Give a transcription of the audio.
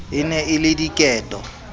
e ne e le diketo